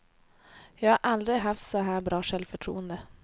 Jag har aldrig haft så här bra självförtroende.